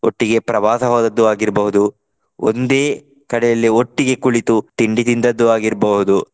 ಒಟ್ಟಿಗೆ ಪ್ರವಾಸ ಹೋದದ್ದು ಆಗಿರ್ಬಹುದು. ಒಂದೇ ಕಡೆಯಲ್ಲಿ ಒಟ್ಟಿಗೆ ಕುಳಿತು ತಿಂಡಿ ತಿಂದದ್ದು ಆಗಿರ್ಬಹುದು.